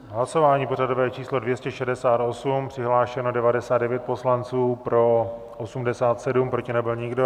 Hlasování pořadové číslo 268, přihlášeno 99 poslanců, pro 87, proti nebyl nikdo.